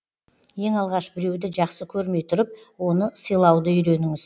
ең алғаш біреуді жақсы көрмей тұрып оны сыйлауды үйреніңіз